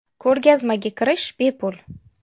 Ko‘rgazmaga kirish bepul.